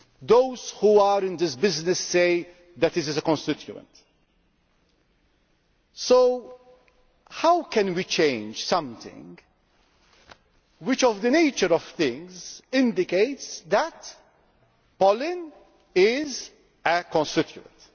Those who are in this business say that it is a constituent. So how can we change something which, in the nature of things, indicates that pollen is a constituent?